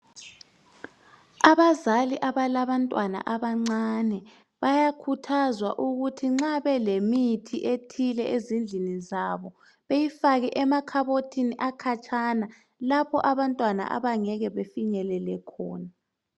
Abazali abalabantwana abancane bayakhuthaza ukuthi nxa belemithi ethile ezindlini zabo, beyifake emakhabothini akhatshana, lapho abantwana abangeke befinyelele khona.